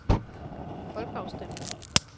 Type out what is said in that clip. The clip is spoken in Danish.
folkeafstemning